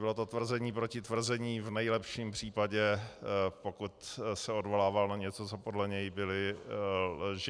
Bylo to tvrzení proti tvrzení v nejlepším případě, pokud se odvolával na něco, co podle něj byly lži.